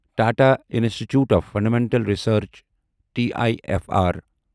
Tata institute of fundamental research T I F R